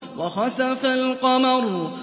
وَخَسَفَ الْقَمَرُ